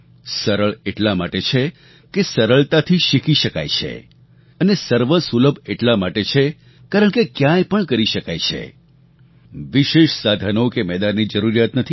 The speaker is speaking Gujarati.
સરળ એટલા માટે છે કે સરળતાથી શીખી શકાય છે અને સર્વસુલભ એટલા માટે છે કારણકે ક્યાંય પણ કરી શકાય છે વિશેષ સાધનો કે મેદાનની જરૂરિયાત નથી